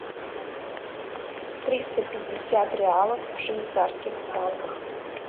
триста пятьдесят реалов в швейцарских франках